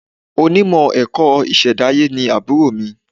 Onímọ̀ ẹ̀kọ́ ìṣẹ̀dáyé ni àbúrò mi.